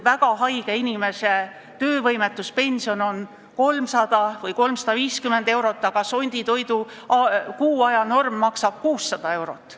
Väga haige inimese töövõimetuspension on 300 või 350 eurot, aga sonditoidu kuu aja norm maksab 600 eurot.